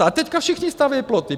A teď všichni staví ploty.